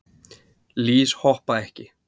Lýs hoppa ekki.